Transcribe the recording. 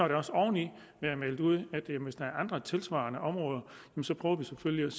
der også oven i været meldt ud at man hvis der er andre tilsvarende områder så selvfølgelig vil